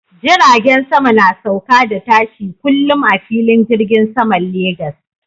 Jiragen sama na sauka da tashi kullum a filin jirgin saman Lagos.